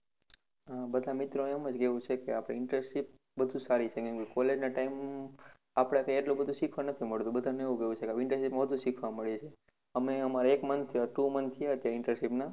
હા બધા મિત્રો નું એમ જ કેવું છે આપણી internship બધુ સારી રીતે college time આપણા થી એટલું બધુ શીખવા નથી મળતું. બધા નું એવું કેવું છે internship વધુ શીખવા મળે છે અમે અમારા એક month two month થયા છે internship ના